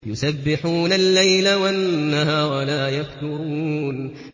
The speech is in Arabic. يُسَبِّحُونَ اللَّيْلَ وَالنَّهَارَ لَا يَفْتُرُونَ